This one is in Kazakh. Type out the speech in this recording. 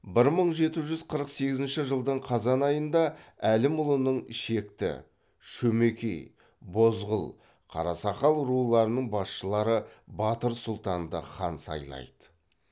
бір мың жеті жүз қырық сегізінші жылдың қазан айында әлімұлының шекті шөмекей бозғыл қарасақал руларының басшылары батыр сұлтанды хан сайлайды